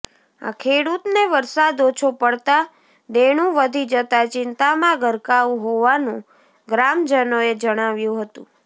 આ ખેડૂતને વરસાદ ઓછો પડતા દેણું વધી જતા ચિંતામાં ગરકાવ હોવાનું ગ્રામજનોએ જણાવ્યું હતું